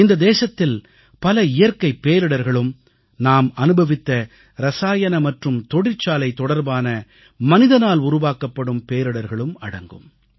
இந்த தேசத்தில் பல இயற்கைப் பேரிடர்களும் நாம் அனுபவித்த ரசாயன மற்றும் தொழிற்சாலை தொடர்பான மனிதனால் உருவாக்கப்படும் பேரிடர்களும் அடங்கும்